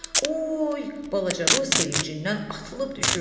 Oy balaca Ru sevincindən atılıb düşürdü.